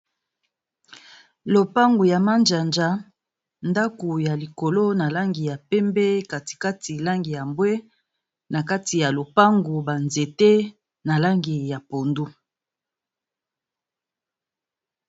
Lopango ya mazanza, ndaku ya likolo na langi ya pembe kati kati langi ya mbwe, na kati ya lopango ba nzete na langi ya pondu.